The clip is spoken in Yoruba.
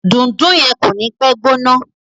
Dundun yen ko ni pe gbóná.